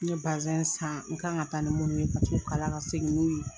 N ye basɛn san u kan ka taa ni munnu ye ku tu kalan ka segin n'u ye.